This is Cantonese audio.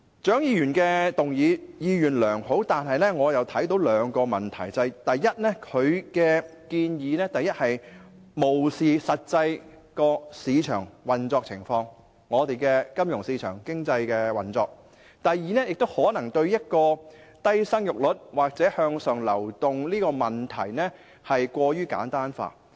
蔣議員的議案意願良好，但我卻看到兩個問題：第一，她的建議漠視了金融和市場經濟的實際運作情況；第二，她可能把生育率低或向上流動的問題過於簡單化。